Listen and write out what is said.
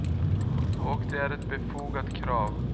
Och det är ett befogat krav.